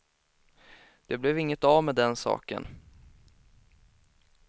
Det blev inget av med den saken.